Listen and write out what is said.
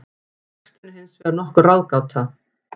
Textinn er hins vegar nokkur ráðgáta.